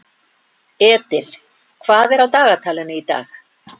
Edil, hvað er á dagatalinu í dag?